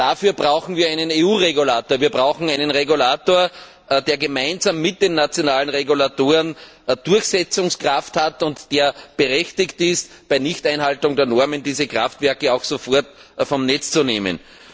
Dafür brauchen wir einen EU Regulator, der gemeinsam mit den nationalen Regulatoren Durchsetzungskraft hat und der berechtigt ist, bei Nichteinhaltung der Normen diese Kraftwerke auch sofort vom Netz zu nehmen.